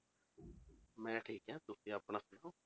ਮੈਂ ਠੀਕ ਹਾਂ, ਤੁਸੀਂ ਆਪਣਾ ਦੱਸੋ।